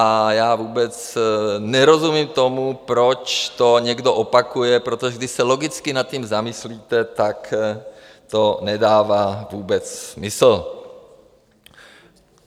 A já vůbec nerozumím tomu, proč to někdo opakuje, protože když se logicky nad tím zamyslíte, tak to nedává vůbec smysl.